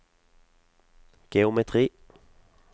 geometri